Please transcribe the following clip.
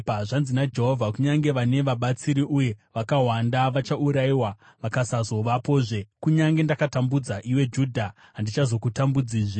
Zvanzi naJehovha: “Kunyange vane vabatsiri uye vakawanda, vachaurayiwa vakasazovapozve. Kunyange ndakakutambudza, iwe Judha, handichazokutambudzazve.